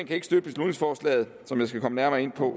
kan ikke støtte beslutningsforslaget som jeg skal komme nærmere ind på